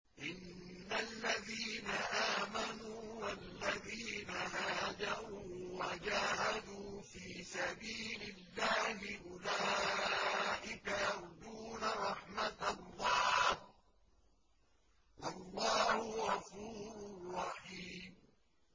إِنَّ الَّذِينَ آمَنُوا وَالَّذِينَ هَاجَرُوا وَجَاهَدُوا فِي سَبِيلِ اللَّهِ أُولَٰئِكَ يَرْجُونَ رَحْمَتَ اللَّهِ ۚ وَاللَّهُ غَفُورٌ رَّحِيمٌ